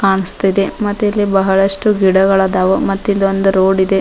ಕಾಣಿಸ್ತಿದೆ ಮತ್ತಿಲ್ಲಿ ಬಹಳಷ್ಟು ಗಿಡಗಳದಾವ ಮತ್ತಿಲಿ ಒಂದು ರೋಡ್ ಇದೆ.